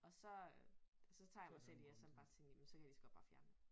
Og så øh så tager jeg mig selv i at sådan bare tænke jamen så kan jeg ligeså godt bare fjerne jer